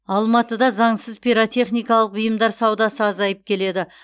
алматыда заңсыз пиротехникалық бұйымдар саудасы азайып келеді